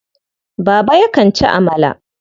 Baba yakan ci amala.